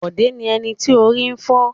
Bọ̀dé ni ẹni tí orí ń fọ́.